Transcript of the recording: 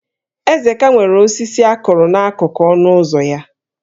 Ezeka nwere osisi a kụrụ n'akụkụ ọnụ ụzọ ya